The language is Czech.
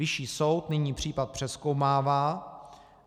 Vyšší soud nyní případ přezkoumává.